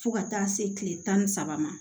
Fo ka taa se kile tan ni saba ma